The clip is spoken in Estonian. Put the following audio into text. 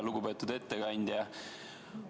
Lugupeetud ettekandja!